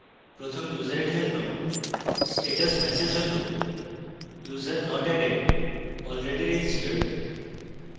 প্রথম ইউসারের জন্য status ম্যাসেজ হল: